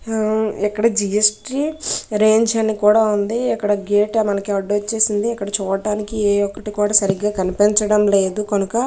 ఆ ఇక్కడ GST range అని కూడా ఉంది అక్కడ గేట్ మన కి అడ్డూచ్చేసింది అక్కడ చూడడానికి ఏ ఒక్కటి కూడా కనిపించడం లేదు గనుక.